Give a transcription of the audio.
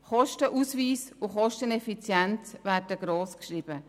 Kostenausweis und Kosteneffizienz werden grossgeschrieben.